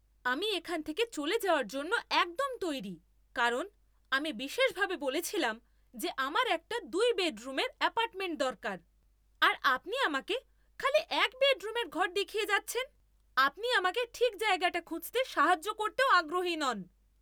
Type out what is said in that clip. আমি এখান থেকে চলে যাওয়ার জন্য একদম তৈরি কারণ আমি বিশেষভাবে বলেছিলাম যে আমার একটা দুই বেডরুমের অ্যাপার্টমেন্ট দরকার আর আপনি আমাকে খালি এক বেডরুমের ঘর দেখিয়ে যাচ্ছেন। আপনি আমাকে ঠিক জায়গাটা খুঁজতে সাহায্য করতেও আগ্রহী নন।